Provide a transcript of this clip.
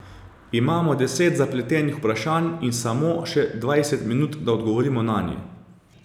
Imamo deset zapletenih vprašanj in samo še dvajset minut, da odgovorimo nanje.